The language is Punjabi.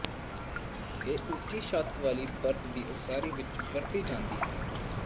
ਇਹ ਉੱਚੀ ਛੱਤ ਵਾਲੀ ਪਰਤ ਦੀ ਉਸਾਰੀ ਵਿੱਚ ਵਰਤੀ ਜਾਂਦੀ ਹੈ